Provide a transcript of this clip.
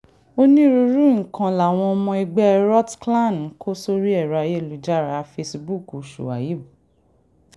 onírúurú nǹkan làwọn ọmọ ẹgbẹ́ rotclan ń kó sórí ẹ̀rọ ayélujára fẹ́síbùúkù shuaib